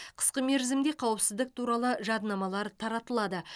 қысқы мерзімде қауіпсіздік туралы жадынамалар таратылады